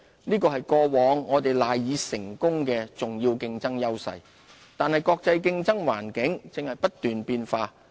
這是過往我們賴以成功的重要競爭優勢，但國際競爭環境正不斷變化。